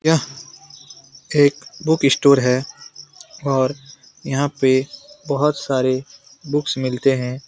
यह एक book store है और यहाँ पे बहुत सारे बुक्स मिलते हैं।